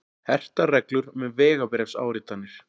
Hertar reglur um vegabréfsáritanir